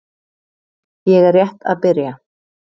Ég er rétt að byrja.